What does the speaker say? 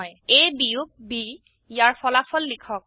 A বিয়োগ ব ইয়াৰ ফলাফল লিখক